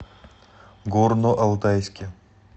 горно алтайске